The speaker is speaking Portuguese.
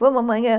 Vamos amanhã?